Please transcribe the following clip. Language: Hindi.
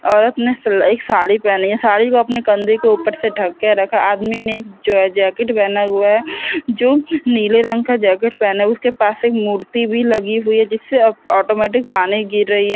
औरत ने सिलाई साड़ी पहनी है साड़ी को अपने कंधे के ऊपर से ढक के रखा है आदमी ने एक जो है जैकेट पहना हुआ है जो नीले रंग का जैकेट पहना है उसके पास एक मूर्ति भी लगी हुई है जिससे ऑटोमेटिक पानी गिर रही है।